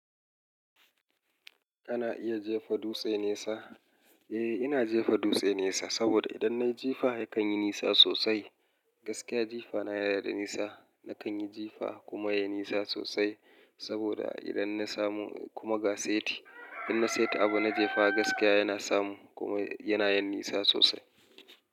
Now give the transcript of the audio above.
Ana iya jefa dutse nesa. Eh, ina jefa dutse nesa saboda idan nayi jifa ya kanyi nisa sosai. Gaskiya jifa na yanada nisa. Nakan yi jifa kuma yayi nisa sosai saboda idan na samo kuma ga saiti, idan na saita abu na jefa gaskiya yana samu kuma yana yin nisa sosai.